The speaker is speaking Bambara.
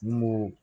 N ko